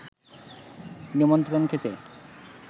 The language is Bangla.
নিমন্ত্রণ খেতে